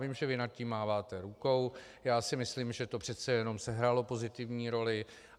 Vím, že vy nad tím máváte rukou, já si myslím, že to přece jenom sehrálo pozitivní roli.